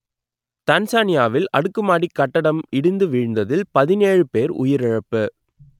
தன்சானியாவில் அடுக்கு மாடிக் கட்டடம் இடிந்து வீழ்ந்ததில் பதினேழு பேர் உயிரிழப்பு